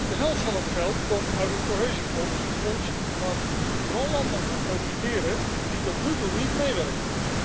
De helft van dit geld komt uit het Cohesiefonds, het fonds waar vooral landen van profiteren die tot nu toe niet meewerken.